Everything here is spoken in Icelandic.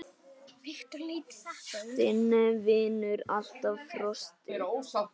Þinn vinnur alltaf, Frosti.